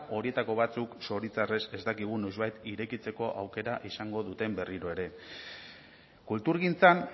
horietako batzuk zoritxarrez ez dakigu noizbait irekitzeko aukera izango duten berriro ere kulturgintzan